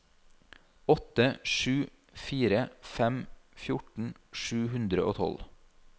åtte sju fire fem fjorten sju hundre og tolv